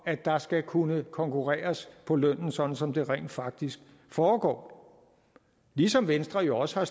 at der skal kunne konkurreres på lønnen sådan som det rent faktisk foregår ligesom venstre jo også har